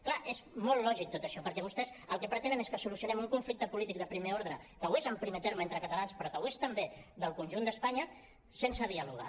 clar és molt lògic tot això perquè vostès el que pretenen és que solucionem un conflicte polític de primer ordre que ho és en primer terme entre catalans però que ho és també del conjunt d’espanya sense dialogar